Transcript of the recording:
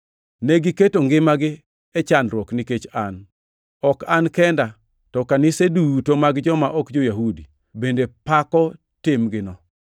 Negiketo ngimagi e chandruok nikech an. Ok an kenda, to kanise duto mag joma ok jo-Yahudi, bende pako timgino.